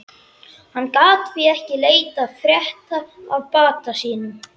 Hann gat því ekki leitað frétta af bata sínum.